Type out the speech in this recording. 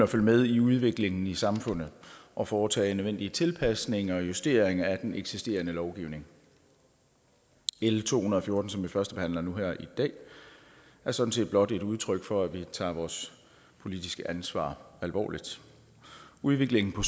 med i udviklingen i samfundet og foretage nødvendige tilpasninger og justeringer af den eksisterende lovgivning l to hundrede og fjorten som vi førstebehandler nu her i dag er sådan set blot et udtryk for at vi tager vores politiske ansvar alvorligt udviklingen på